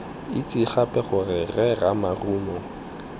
itse gape gore rre ramarumo